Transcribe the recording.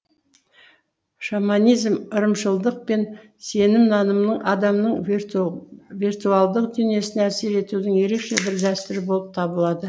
шаманизм ырымшылдық пен сенім нанымның адамның виртуалдық дүниесіне әсер етудің ерекше бір дәстүрі болып табылады